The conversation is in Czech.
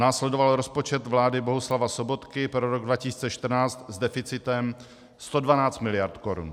Následoval rozpočet vlády Bohuslava Sobotky pro rok 2014 s deficitem 112 mld. korun.